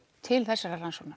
til þessarar rannsóknar